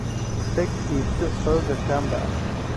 Tag iibso xoogaa Kamba ah.